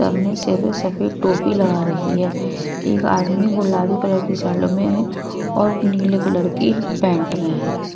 सबने से सफेद टोपी लगा रखी है एक आदमी गुलाबी कलर की शर्ट में है और नीले कलर की पेंट में है।